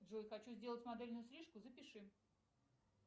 джой хочу сделать модельную стрижку запиши